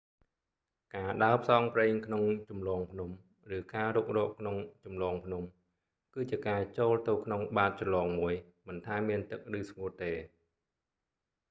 ការដើរផ្សងព្រេងក្នុងជម្លងភ្នំ ឬ៖ ការរុករកក្នុងជម្លងភ្នំ គឺជាការចូលទៅក្នុងបាតជ្រលងមួយ មិនថាមានទឹកឬស្ងួតទេ